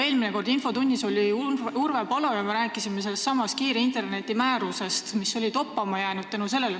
Eelmine kord oli infotunnis Urve Palo ja me rääkisime sellestsamast kiire interneti määrusest, mis oli toppama jäänud.